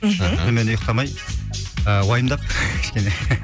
мхм түнімен ұйқтамай ы уайымдап кішкене